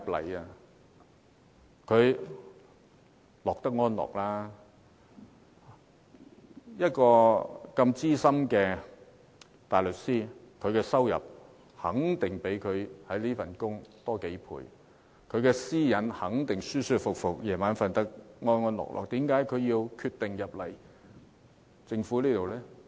鄭若驊擔任資深大律師，收入肯定較她當司長的薪金多幾倍，私隱也會得到妥善保障，晚上睡得安安樂樂，她為何決定加入政府？